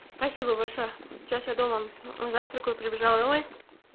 спасибо большое сейчас я дома завтракаю прибежал домой